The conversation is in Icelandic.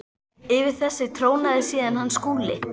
Yfir þessu trónaði síðan hann Skúli.